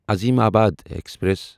Azimabad express